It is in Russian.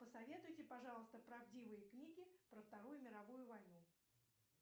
посоветуйте пожалуйста правдивые книги про вторую мировую войну